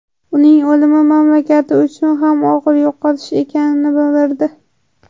Uning o‘limi mamlakati uchun ham og‘ir yo‘qotish ekanligini bildirdi.